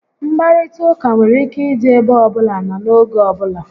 Nkparịta ụka nwere ike ịdị ebe ọbụla na n'oge ọbula